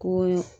Ko